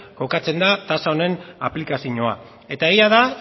kokatzen da tasa honen aplikazioa eta egia da